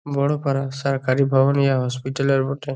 বড় পারা সরকারি ভবন। ইহা হসপিটাল -র বটে।